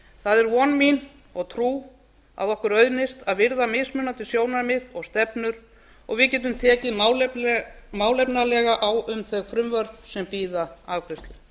það er von mín og trú að okkur auðnist að virða mismunandi sjónarmið og stefnur og að við getum tekið málefnalega á um þau frumvörp sem bíða afgreiðslu